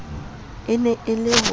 e ne e le ho